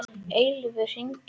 Eilífur, hringdu í Arnfinnu.